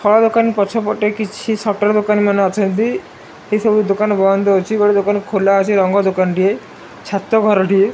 ଫଳ ଦୋକାନ ପଛ ପଟେ କିଛି ସଟର୍ ଦୋକାନ ମାନ ଅଛନ୍ତି ଏ ସବୁ ଦୋକାନ ବନ୍ଦ ଅଛି ଗୋଟେ ଦୋକାନ ଖୋଲା ଅଛି ରଙ୍ଗ ଦୋକାନଟିଏ ଛାତ ଘରଟିଏ।